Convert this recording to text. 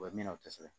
O ye min o tɛ se